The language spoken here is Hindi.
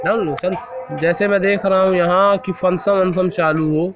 जैसे मैं देख रहा हूं यहां की फंक्शन बंक्शन चालू हो।